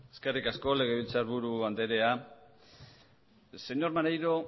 eskerrik asko legebiltzarburu andrea señor maneiro